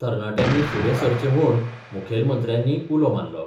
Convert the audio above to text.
तरनाट्यांनी फुडें सरचे म्हूण मुखेलमंत्र्यांनी उलो मारलो.